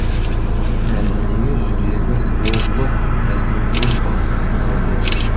әлденеге жүрегі лоблып әлденеден басы айналып еді